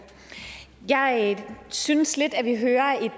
jeg synes lidt at vi hører et